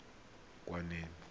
khukhwane